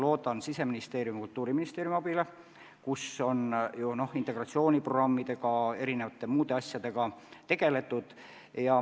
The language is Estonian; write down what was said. Loodan Siseministeeriumi ja Kultuuriministeeriumi abile, sest seal on integratsiooniprogrammide ja erinevate muude sellesuunaliste ettevõtmistega tegeletud.